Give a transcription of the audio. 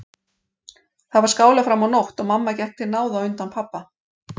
Þar var skálað fram á nótt og mamma gekk til náða á undan pabba.